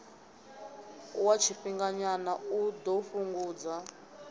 wa tshifhinganyana u ḓo fhungudza